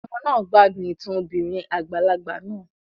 Àwọn ọmọ náà gbádùn ìtàn obìnrin àgbàlagbà náà